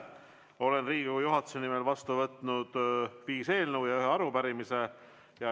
Olen Riigikogu juhatuse nimel vastu võtnud viis eelnõu ja ühe arupärimise.